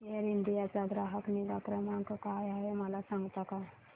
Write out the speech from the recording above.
air India चा ग्राहक निगा क्रमांक काय आहे मला सांगता का